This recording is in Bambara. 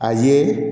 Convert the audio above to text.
A ye